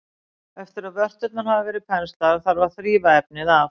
Eftir að vörturnar hafa verið penslaðar þarf að þrífa efnið af.